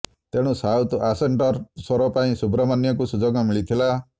ତେଣୁ ସାଉଥ୍ ଆସେଣ୍ଟର ସ୍ୱର ପାଇଁ ସୁବ୍ରମଣ୍ୟମଙ୍କୁ ସୁଯୋଗ ମିଳିଥିଲା